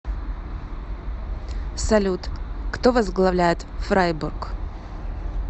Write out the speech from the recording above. салют кто возглавляет фрайбург